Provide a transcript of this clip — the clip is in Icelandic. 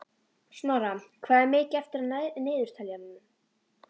Snorra, hvað er mikið eftir af niðurteljaranum?